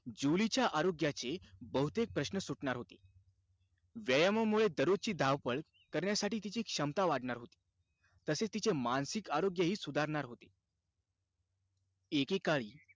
जुलीच्या आरोग्याचे बहुतेक प्रश्न सुटणार होते. व्यायामामुळे दररोजची धावपळ, करण्यासाठी तिची क्षमता वाढणार होती. तसेच, तिचे मानसिक आरोग्यही सुधारणार होते. एकेकाळी,